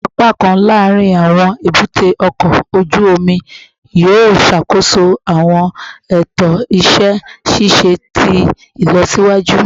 Awọn apakan laarin awọn ebute oko oju omi yoo ṣakoso awọn eto iṣẹ ṣiṣe ti ilọsiwaju